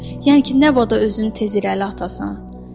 Yəni ki, nə bada özünü tez irəli atasən.